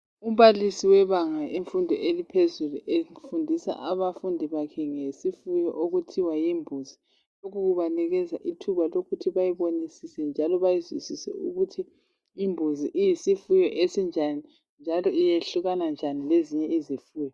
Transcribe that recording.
Umbalisi webanga lemfundo yaphezulu ufundisa abafundi bakhe ngesifuyo okuthiwa yimbuzi. Ubanikeza ithuba lokuthi bayibonisise njalo bayizwisise ukuthi imbuzi iyisifuyo esinjani njalo iyehlukana kanjani lezinye izifuyo.